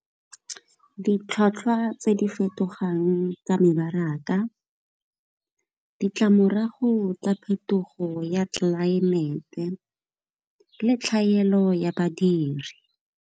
Ditlhwatlhwa tse di fetogang tsa mebaraka, ditlamorago tsa phetogo ya tlelaemete le tlhaelo ya badiri.